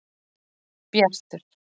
Bjartur